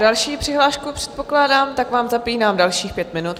Další přihlášku předpokládám, tak vám zapínám dalších pět minut.